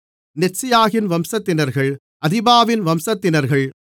நெத்சியாகின் வம்சத்தினர்கள் அதிபாவின் வம்சத்தினர்கள்